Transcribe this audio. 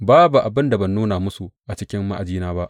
Babu abin da ban nuna musu a cikin ma’ajina ba.